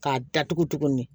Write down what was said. K'a datugu tuguni